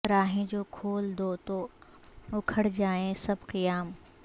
راہیں جو کھول دو تو اکھڑ جائیں سب خیام